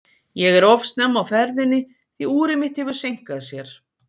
Ég er of snemma á ferðinni, því úrið mitt hefur seinkað sér.